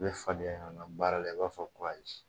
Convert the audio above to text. U bɛ fadenya ɲɔgɔn na baara la i b'a fɔ ko ayi